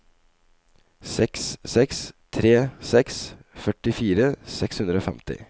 seks seks tre seks førtifire seks hundre og femti